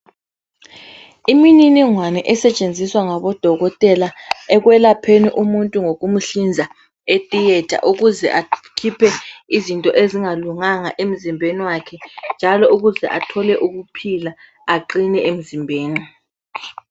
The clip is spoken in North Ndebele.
Imininingwane esetshenziswa ngabodokotela ekwelapheni umuntu ngokumhlinza etheater ukuze akhiphe izinto ezingalunganga emzimbeni wakhe njalo ukuze athole ukuphila aqine emzimbeni.